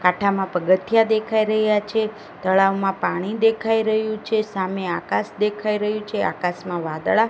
કાંઠામાં પગથીયા દેખાય રહ્યા છે તળાવમાં પાણી દેખાય રહ્યું છે સામે આકાશ દેખાય રહ્યું છે આકાશમાં વાદળા--